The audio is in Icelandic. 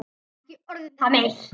Ekki orð um það meir.